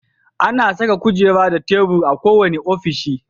Ana saka kujera da tebur a kowane ofishi.